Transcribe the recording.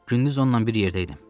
Gündüz onunla bir yerdəydim.